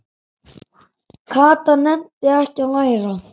Kata nennti ekki að læra.